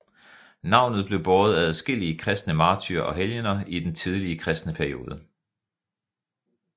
Navnet blev båret af adskillige kristne martyrer og helgener i den tidlige kristne periode